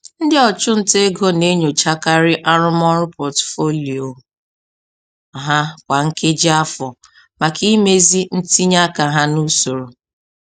Ndị ọchụnta ego na-enyochakarị arụmọrụ pọtụfoliyo ha kwa nkeji afọ maka imezi ntinye aka ha n'usoro.